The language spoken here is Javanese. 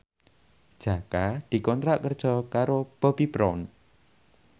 Jaka dikontrak kerja karo Bobbi Brown